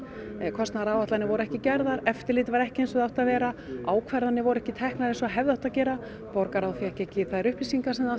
kostnaðaráætlanir voru ekki gerðar eftirlit var ekki eins og það átti að vera ákvarðanir voru ekki teknar eins og hefði átt að gera borgarráð fékk ekki þær upplýsingar sem það